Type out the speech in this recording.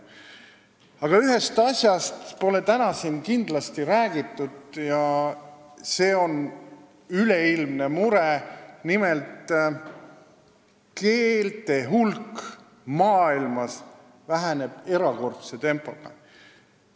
Aga ühest asjast pole siin täna räägitud ja see on üleilmne mure, et keelte hulk maailmas väheneb erakordse tempoga.